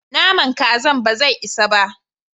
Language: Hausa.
Naman Kazan bazai isa ba.